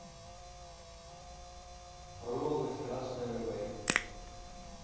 роллы с красной рыбой